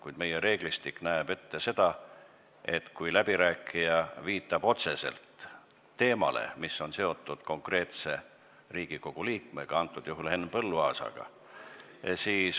Kuid meie reeglistik näeb ette seda, et kui läbirääkija viitab otseselt teemale, mis on seotud konkreetse Riigikogu liikmega, antud juhul Henn Põlluaasaga, siis antakse sõna.